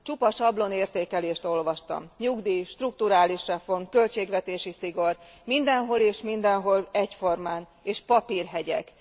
Csupa sablon értékelést olvastam nyugdíj, strukturális reform, költségvetési szigor, mindenhol és mindenhol egyformán, és papírhegyek.